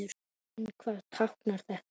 En hvað táknar þetta?